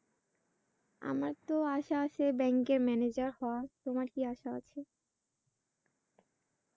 আমারতো আশা আছে bank এ manager হওয়া। তোমার কি আশা?